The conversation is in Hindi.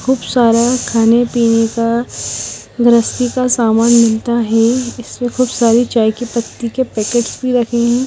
खूब सारा खाने पीने का गृहस्थी का सामान मिलता है इसमे खूब सारी चाय की पत्ती के पैकेट भी रखे हैं।